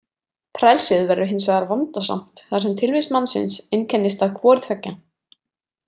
Frelsið verður hins vegar vandasamt þar sem tilvist mannsins einkennist af hvoru tveggja.